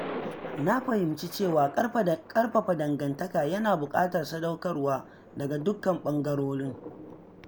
Na fahimci cewa ƙarfafa dangantaka yana buƙatar sadaukarwa daga dukkan bangarorin.